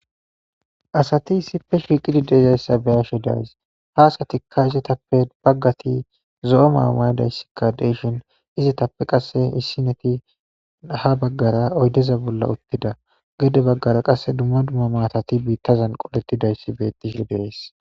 asati issipe shiiqidi deezayssa beyashe days ha asatikka izitappe baggati zo7o maamaydayssikka deyshin izitappe qasse hissineti ha baggara oydeza bolla uttida gede baggara qasse dumma dumma maatati biittazan qolettidayssi bettihi de'es